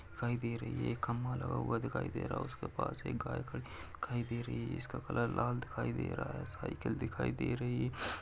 दिखाई दे रही है। एक खम्भा लगा हुआ दिखाई दे रहा है। उसके पास एक गाय खड़ी दिखाई दे रही है। इसका कलर लाल दिखाई दे रहा है। साइकिल दिखाई दे रही है।